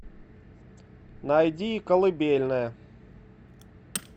найди калыбельная